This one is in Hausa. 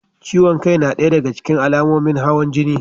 Ciwon kai na ɗaya da ga cikin alamomin hawan jini.